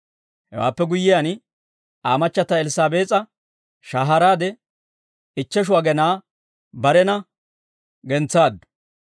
Hewaappe guyyiyaan Aa machchata Elssaabees'a shahaaraade ichcheshu agenaa barena gentsaaddu.